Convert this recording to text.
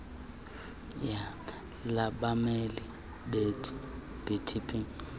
labameli le idp